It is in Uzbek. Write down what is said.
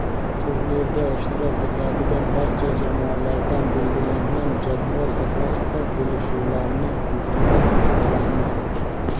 Turnirda ishtirok etadigan barcha jamoalardan belgilangan jadval asosida kelishlarini iltimos qilamiz.